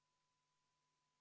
V a h e a e g